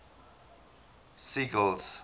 sigel's